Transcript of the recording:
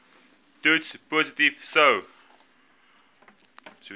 toets positief sou